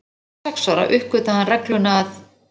Fimm eða sex ára uppgötvaði hann regluna að